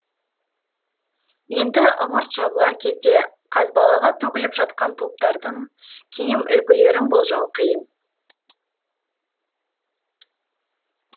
енді ымырт жабылар кезде қазбалаға төгіліп жатқан топтардың киім үлгілерін болжау қиын